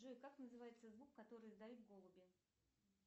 джой как называется звук который издают голуби